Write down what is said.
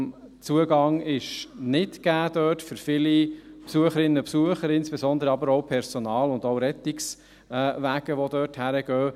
Der Zugang ist dort nicht gegeben für viele Besucherinnen und Besucher, insbesondere aber auch nicht für das Personal und das Rettungswagen, die dorthin gehen.